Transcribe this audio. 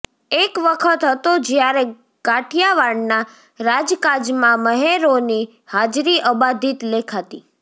એક વખત હતો જ્યારે કાઠિયાવાડના રાજકાજમાં મહેરોની હાજરી અબાધિત લેખાતી